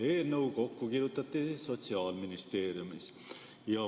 Eelnõu kirjutati kokku Sotsiaalministeeriumis.